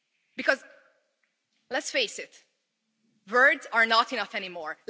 Because let's face it, words are not enough anymore.